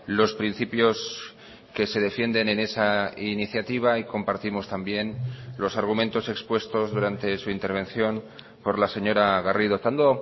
los principios que se defienden en esa iniciativa y compartimos también los argumentos expuestos durante su intervención por la señora garrido estando